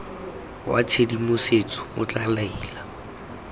wa tshedimosetso o tla laela